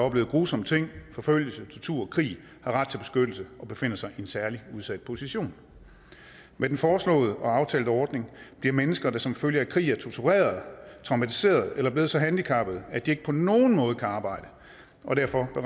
oplevet grusomme ting forfølgelse tortur krig har ret til beskyttelse og befinder sig i en særlig udsat position med den foreslåede og aftalte ordning bliver mennesker der som følge af krig er torturerede traumatiserede eller er blevet så handicappede at de ikke på nogen måde kan arbejde og derfor er